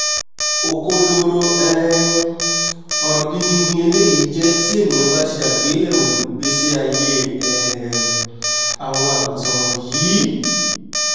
òkondoro um ọ̀rọ̀ gidi ni eléyìí jẹ́ tí ènìà bá ṣe àgbéyẹ̀wò ìgbésí aiyé um àwọn àgùntàn wọ̀nyìí!